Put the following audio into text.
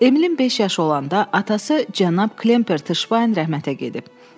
Emilin beş yaşı olanda atası cənab Klemper Tışbayn rəhmətə gedib.